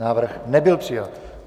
Návrh nebyl přijat.